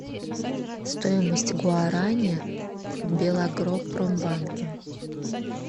стоимость гуарани в белагропромбанке